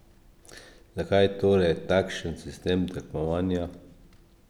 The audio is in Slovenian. Zakaj torej takšen sistem tekmovanja?